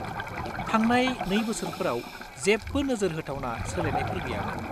थांनाय 2 बोसोरफोराव जेबो नोजोर होथावना सोलायनायफोर गैयामोन।